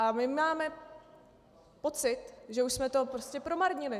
A my máme pocit, že už jsme to prostě promarnili.